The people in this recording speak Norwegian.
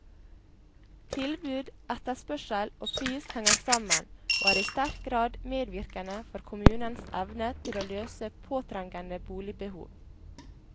Tilbud, etterspørsel og pris henger sammen, og er i sterk grad medvirkende for kommunens evne til å løse påtrengende boligbehov.